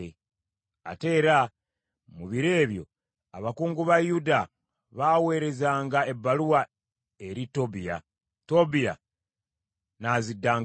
Ate era mu biro ebyo abakungu ba Yuda baaweerezanga ebbaluwa eri Tobiya. Tobiya n’aziddangamu.